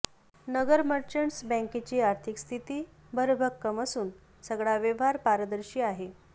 नगर Merchants बँकेची आर्थिक स्थिती भरभक्कम असून सगळा व्यवहार पारदर्शी आहे